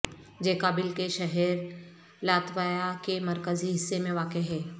جیکابل کے شہر لاتویا کے مرکزی حصے میں واقع ہے